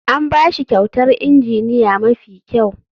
An ba shi kyautar injiniya mafi kyau.